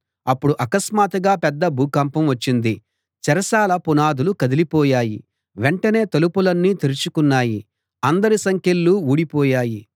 అప్పుడు అకస్మాత్తుగా పెద్ద భూకంపం వచ్చింది చెరసాల పునాదులు కదిలి పోయాయి వెంటనే తలుపులన్నీ తెరుచుకున్నాయి అందరి సంకెళ్ళు ఊడిపోయాయి